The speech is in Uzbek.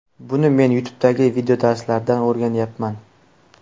Buni men YouTube’dagi videodarslardan o‘rganyapman.